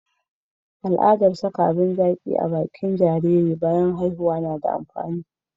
al'adan saka abun zaki a bakin jariri bayan haihuwa na da amfani